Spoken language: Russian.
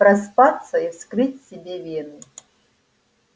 проспаться и вскрыть себе вены